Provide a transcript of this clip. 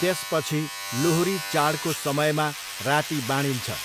त्यसपछि लोहरी चाडको समयमा राति बाँडिन्छ।